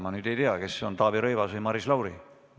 Ma ei tea, kas see on Taavi Rõivas või Maris Lauri.